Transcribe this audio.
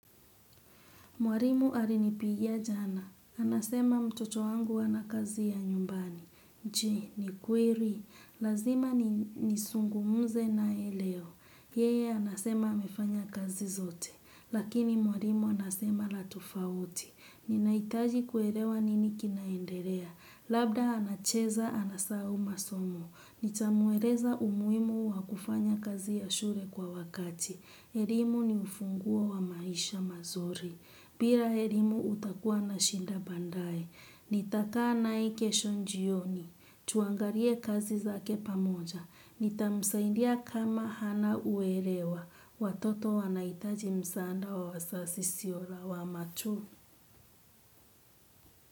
Mwalimu alinipigia jana. Anasema mtoto wangu ana kazi ya nyumbani. Je, ni kweli. Lazima ni nisungumuze nae leo. Yeye, anasema amefanya kazi zote. Lakini mwalimu anasema la tofauti. Ninaitaji kuelewa nini kinaendelea. Labda anacheza, anasahau masomo. Nitamueleza umuhimu wa kufanya kazi ya shule kwa wakati. Elimu ni ufunguo wa maisha mazuri. Bila elimu utakuwa na shida baadae, nitakaa nae kesho jioni, tuangalie kazi zake pamoja, nitamusaidia kama hana uelewa, watoto wanaitaji msaada wa wazazi sio lawama tu.